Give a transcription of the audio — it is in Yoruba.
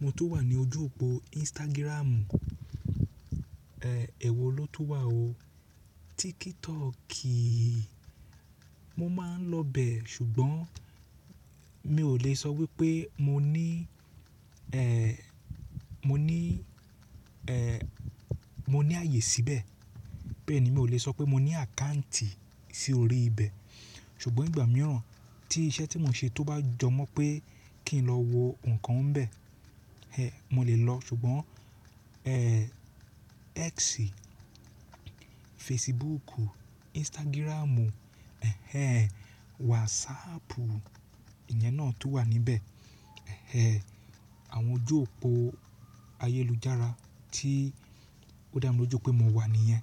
Mo tun wà ní ojú òpó Instagram, ẹ́ ewo ló tun wà o. TikTok, mo máa ń lọ bẹ̀ ṣùgbọ́n mi ò lè sọ wípé mo ní, ẹ́ẹ́, mo ní, ẹ́ẹ́, mo ní ààyè síbẹ̀. Bẹ́ẹ̀ni, mi ò lè sọ pé mo ní àkáǹtì sí orí ibẹ̀. Ṣùgbọ́n ìgbà mìíràn tí iṣẹ́ tí mo ń ṣe tó bá jọ mọ́ pé kí n lọ wo nǹkan ń bẹ̀, ẹ́ ẹ, mo lè lọ. Ṣùgbọ́n, ẹ́ẹ́, X, Facebook, Instagram, ẹ́ ẹ́, WhatsApp, ìyẹn náà tun wà níbẹ̀. Ẹ̀ẹ́, àwọn ojú òpó ayélujára tí ó dá mi lójú pé mo wà nìyẹn.